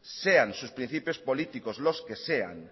sean sus principios políticos los que sean